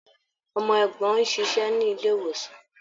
Ọmọ ẹ̀gbọ́n ń ṣiṣẹ́ ní ilé-ìwòsàn.